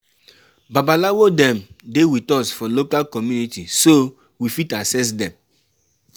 Babalawo dem dey with us for local community so we fit access dem